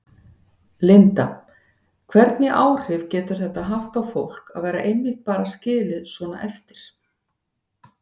Linda: Hvernig áhrif getur þetta haft á fólk að vera einmitt bara skilið svona eftir?